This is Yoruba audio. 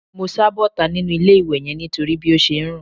Mo sá bọ́ta nínú ilé-ìwẹ̀ yẹn nítorí bí ó ṣe ń rùn